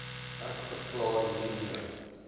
ek verklaar hiermee